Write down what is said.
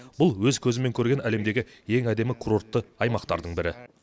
бұл өз көзіммен көрген әлемдегі ең әдемі курортты аймақтардың бірі